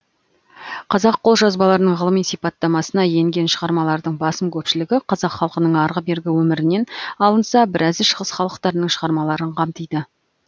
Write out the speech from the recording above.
қазақ қолжазбаларының ғылыми сипаттамасына енген шығармалардың басым көпшілігі қазақ халқының арғы бергі өмірінен алынса біразы шығыс халықтарының шығармаларын қамтиды